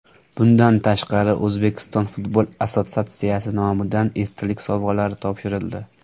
Bundan tashqari O‘zbekiston futbol assotsiatsiyasi nomidan esdalik sovg‘alari topshirildi.